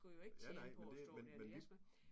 Ja nej men det men men vi